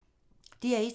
DR1